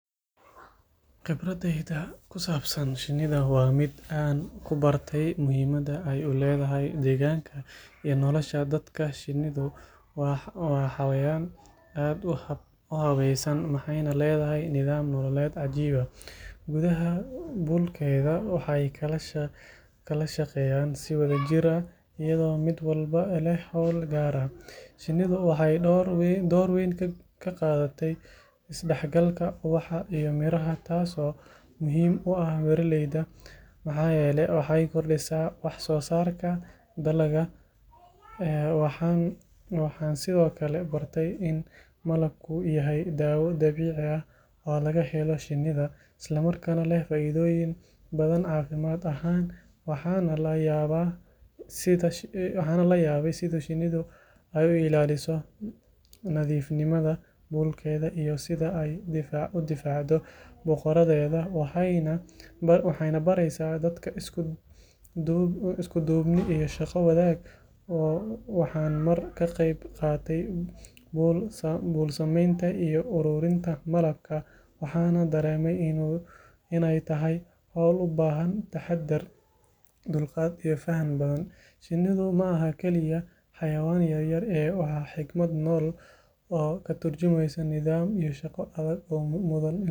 Khibraddayda ku saabsan shinnida waa mid aan ku bartay muhiimadda ay u leedahay deegaanka iyo nolosha dadka shinnidu waa xayawaan aad u habaysan waxayna leedahay nidaam nololeed cajiib ah gudaha buulkeeda waxay kala shaqeeyaan si wadajir ah iyadoo mid walba leh hawl gaar ah shinnidu waxay door weyn ka qaadataa isdhexgalka ubaxa iyo miraha taasoo muhiim u ah beeraleyda maxaa yeelay waxay kordhisaa wax soo saarka dalagga waxaan sidoo kale bartay in malabku yahay daawo dabiici ah oo laga helo shinnida isla markaana leh faa’iidooyin badan caafimaad ahaan waxaan la yaabay sida shinnidu ay u ilaaliso nadiifnimada buulkeeda iyo sida ay u difaacdo boqoradeeda waxayna baraysaa dadka isku duubni iyo shaqo wadaag waxaan mar ka qayb qaatay buul samaynta iyo ururinta malabka waxaana dareemay in ay tahay hawl u baahan taxaddar dulqaad iyo faham badan shinnidu maaha kaliya xayawaan yaryar ee waa xigmad nool oo ka tarjumeysa nidaam iyo shaqo adag oo mudan in laga barto.